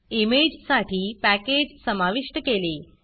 इमेजसाठी package समाविष्ट केले